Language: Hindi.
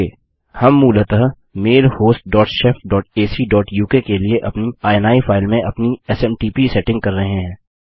ओके हम मूलतः mail host dot shef dot AC dot UK के लिए अपनी इनी फाइल में अपनी एसएमटीपी सेटिंग कर रहे हैं